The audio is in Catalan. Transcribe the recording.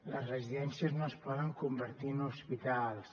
les residències no es poden convertir en hospitals